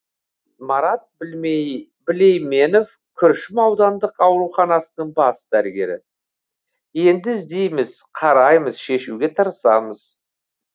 марат білейменов күршім аудандық ауруханасының бас дәрігері енді іздейміз қараймыз шешуге тырысамыз